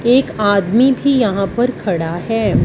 एक आदमी भी यहां पर खड़ा है।